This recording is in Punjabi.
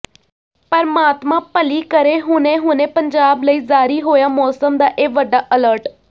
ਪਰਮਾਤਮਾ ਭਲੀ ਕਰੇ ਹੁਣੇ ਹੁਣੇ ਪੰਜਾਬ ਲਈ ਜਾਰੀ ਹੋਇਆ ਮੌਸਮ ਦਾ ਇਹ ਵੱਡਾ ਅਲਰਟ